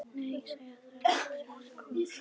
Nei, segja þær allar þrjár í kór.